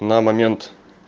на момент